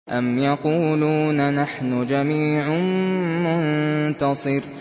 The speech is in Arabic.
أَمْ يَقُولُونَ نَحْنُ جَمِيعٌ مُّنتَصِرٌ